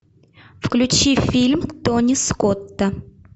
включи фильм тони скотта